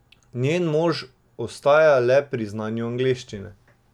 Njen mož ostaja le pri znanju angleščine.